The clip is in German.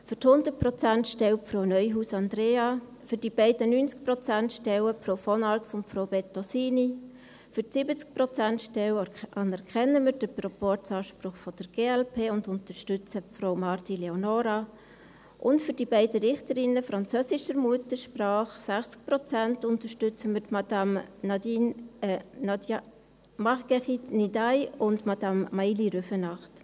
Für die 100-Prozent-Stelle Frau Neuhaus Andrea, für die beiden 90-Prozent-Stellen Frau von Arx und Frau Bettosini, für die 70-Prozent-Stelle anerkennen wir den Proporzanspruch der glp und unterstützen Frau Marti Leonora, und für die beiden Richterinnen französischer Muttersprache, 60 Prozent, unterstützen wir Madame Marguerite Ndiaye und Madame Maïli Rüfenacht.